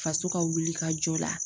Faso ka wulikajɔ la.